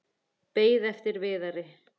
Beið eftir Viðari.